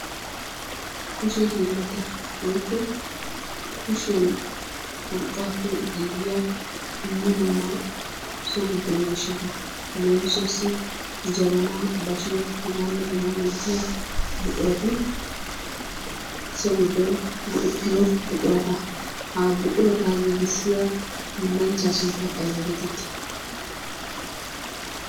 Kushe hiillata woykko kushiyaan urqqaappe giigiyaa dumma dumma so giddo so giddo miishshata leemissuwaassi jabaanaa, bashshiyaa, hegaanne hegaa milatiyaa buqurati so giddon go"ettiyoo buqurata. Ha buquraa giigisiyaa hiillanchchaa sunttay ayba getettii?